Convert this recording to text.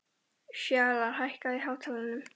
Fjalarr, hækkaðu í hátalaranum.